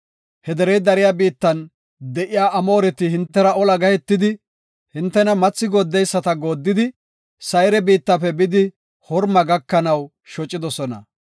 He derey dariya biittan de7iya Amooreti hintera ola gahetidi, hintena mathi gooddeysada gooddidi, Sayre biittafe bidi Horma gakanaw shocidosona.